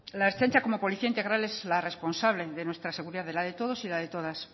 la ertzaintza como policía integral es la responsable de nuestra seguridad de la de todos y la de todas